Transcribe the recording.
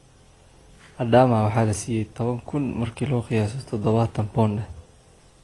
Adaama waxa lasiyey towan kun , marki laku qiyaso dhadhawatan pond eh.